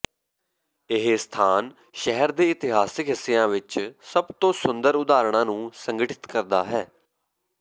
ਇਹ ਸਥਾਨ ਸ਼ਹਿਰ ਦੇ ਇਤਿਹਾਸਕ ਹਿੱਸਿਆਂ ਵਿੱਚ ਸਭ ਤੋਂ ਸੁੰਦਰ ਉਦਾਹਰਣਾਂ ਨੂੰ ਸੰਗਠਿਤ ਕਰਦਾ ਹੈ